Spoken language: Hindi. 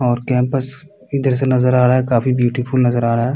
और कैंपस इधर से नजर आ रहा है काफी ब्यूटीफुल नजर आ रहा है।